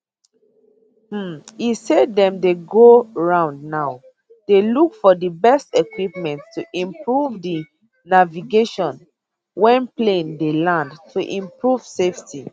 um e say dem dey go round now dey look for di best equipment to improve di navigation wen plane dey land to improve safety